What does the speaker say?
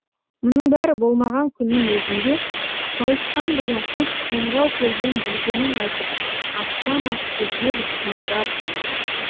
мұның бәрі болмаған күннің өзінде сауысқан деген құс қоңырау көрген білгенін айтып аспан асты жер үстіне жар салады